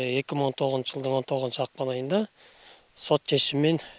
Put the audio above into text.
екі мың он тоғызыншы жылдың он тоғызыншы ақпан айында сот шешімімен